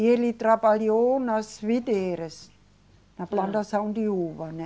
E ele trabalhou nas videiras, na plantação de uva, né?